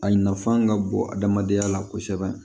A nafan ka bɔ adamadenya la kosɛbɛ